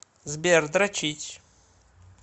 сбер дрочить